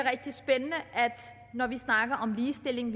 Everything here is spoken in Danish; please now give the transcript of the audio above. når vi snakker om ligestilling